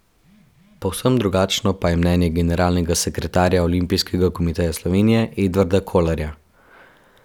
Povsem drugačno pa je mnenje generalnega sekretarja Olimpijskega komiteja Slovenije Edvarda Kolarja.